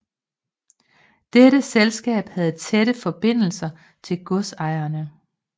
Dette selskab havde tætte forbindelser til godsejerne